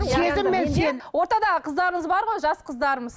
сезім мен ортадағы қыздарымыз бар ғой жас қыздарымыз